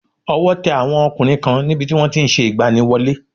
Ọwọ́ te àwọn ọkùnrin kan ní bi tí wọ́n ti n se ìgbaniwọlé